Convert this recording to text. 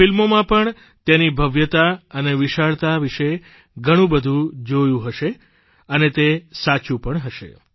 ફિલ્મોમાં પણ તેની ભવ્યતા અને વિશાળતા વિશે ઘણું બધું જોયું હશે અને તે સાચું પણ હશે